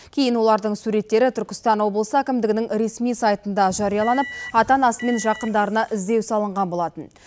кейін олардың суреттері түркістан облысы әкімдігінің ресми сайтында жарияланып ата анасы мен жақындарына іздеу салынған болатын